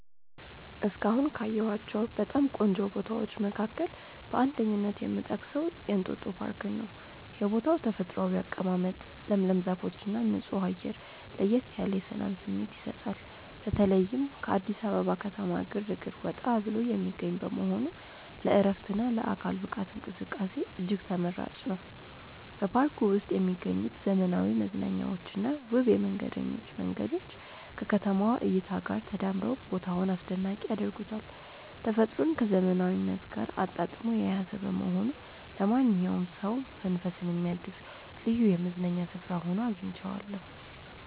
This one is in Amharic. እስካሁን ካየኋቸው በጣም ቆንጆ ቦታዎች መካከል በአንደኝነት የምጠቀሰው የእንጦጦ ፓርክን ነው። የቦታው ተፈጥሯዊ አቀማመጥ፣ ለምለም ዛፎችና ንጹህ አየር ለየት ያለ የሰላም ስሜት ይሰጣል። በተለይም ከአዲስ አበባ ከተማ ግርግር ወጣ ብሎ የሚገኝ በመሆኑ ለዕረፍትና ለአካል ብቃት እንቅስቃሴ እጅግ ተመራጭ ነው። በፓርኩ ውስጥ የሚገኙት ዘመናዊ መዝናኛዎችና ውብ የመንገደኞች መንገዶች ከከተማዋ እይታ ጋር ተዳምረው ቦታውን አስደናቂ ያደርጉታል። ተፈጥሮን ከዘመናዊነት ጋር አጣጥሞ የያዘ በመሆኑ ለማንኛውም ሰው መንፈስን የሚያድስ ልዩ የመዝናኛ ስፍራ ሆኖ አግኝቼዋለሁ።